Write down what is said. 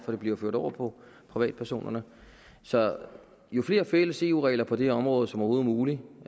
for det bliver ført over på privatpersonerne så jo flere fælles eu regler på det område som overhovedet muligt